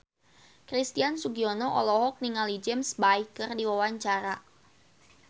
Christian Sugiono olohok ningali James Bay keur diwawancara